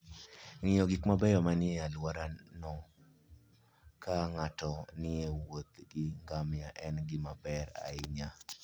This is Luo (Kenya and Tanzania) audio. Ng'iyo gik mabeyo manie alworano ka ng'ato nie wuoth gi ngamia en gima ber ahinya.